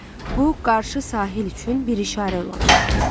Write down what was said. Bu, qarşı sahil üçün bir işarə ola bilərdi.